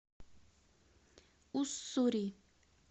уссури